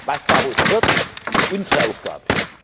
Was daraus wird, ist unsere Aufgabe.